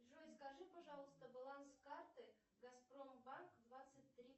джой скажи пожалуйста баланс карты газпромбанк двадцать три